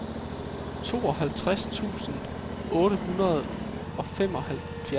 toogtres tusind otte hundrede og femoghalvfjerds